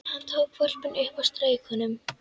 Hann tók hvolpinn upp og strauk honum.